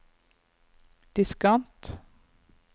diskant